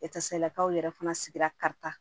Etasalakaw yɛrɛ fana sigira karita